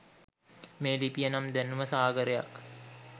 මේ ලිපිය නම් දැනුම සාගරයක්.